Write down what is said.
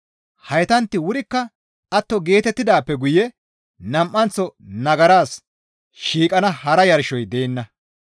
Heytantti wurikka atto geetettidaappe guye nam7anththo nagaras shiiqana hara yarshoy deenna.